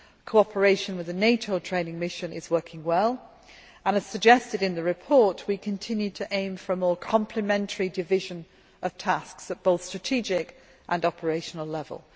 Cooperation with the NATO training mission is working well and, as suggested in the report, we continue to aim for a more complementary division of tasks at both strategic and operational level.